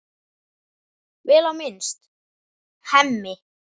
Vel á minnst: Hemmi.